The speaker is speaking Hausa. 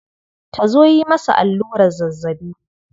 Ta zo yi masa allurar zazzabi.